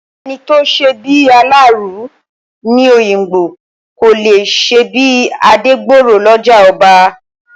Ẹni tí ò ṣebí aláàárù ní Òyìngbò, kò lè ṣebí Adégbọrọ̀ lọ́jà ọba.